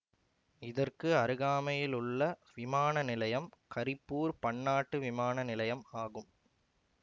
இதற்கு அருகாமையிலுள்ள விமான நிலையம் கரிப்பூர் பன்னாட்டு விமானநிலையம் ஆகும்